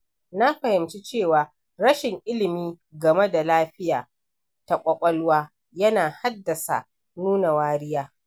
Na fahimci cewa rashin ilimi game da lafiya ta ƙwaƙwalwa yana haddasa nuna wariya.